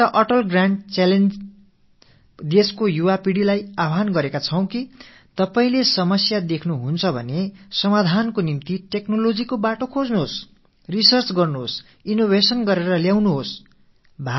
நாம் Atal grand challenges என்ற வகையில் எங்கெல்லாம் உங்கள் கண்களுக்கு பிரச்சனைகள் தென்படுகின்றனவோ அவற்றுக்கு தீர்வேற்படுத்தும் வகையில் தொழில்நுட்பத்தின் துணையை நாடுங்கள் ஆய்வுகளை மேற்கொள்ளுங்கள் புதுமைகள் படையுங்கள் வாருங்கள் என்று நாட்டின் இளைய தலைமுறையினருக்கு ஒரு அழைப்பு விடுத்திருக்கிறோம்